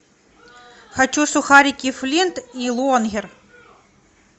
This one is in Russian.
хочу сухарики флинт и лонгер